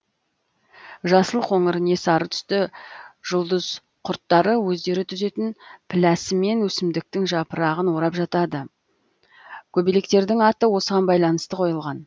жасыл қоңыр не сары түсті жұлдыз құрттары өздері түзетін пілләсімен өсімдіктің жапырағын орап жатады көбелектердің аты осыған байланысты қойылған